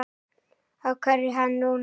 Af hverju hann núna?